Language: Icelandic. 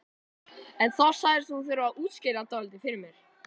En þá sagðist hún þurfa að útskýra dálítið fyrir mér.